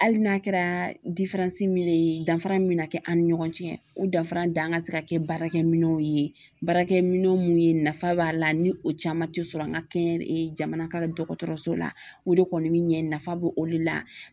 Hali n'a kɛra ye danfara min be na kɛ an ni ɲɔgɔn cɛ o danfara danga se ka kɛ baarakɛminɛnw ye baarakɛminɛn mun ye nafa b'a la ni o caman tɛ sɔrɔ an ka kɛ jamana ka dɔgɔtɔrɔso la o de kɔni bɛ ɲɛ nafa bo olu la